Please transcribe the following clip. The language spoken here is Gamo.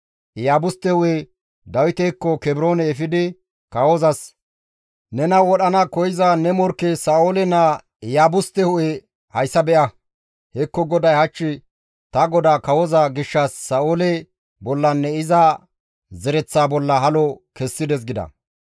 Iyaabuste hu7e Dawitekko Kebroone efidi kawozas, «Nena wodhana koyza ne morkke Sa7oole naa Iyaabuste hu7e hayssa be7a; hekko GODAY hach ta godaa kawoza gishshas Sa7oole bollanne iza zereththaa bolla halo kessides» gida.